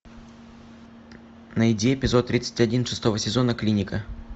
найди эпизод тридцать один шестого сезона клиника